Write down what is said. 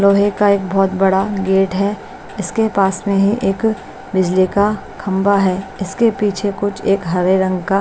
लोहे का एक बहुत बड़ा गेट है इसके पास में ही एक बिजली का खंभा है इसके पीछे कुछ एक हरे रंग का--